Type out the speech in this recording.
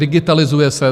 Digitalizuje se.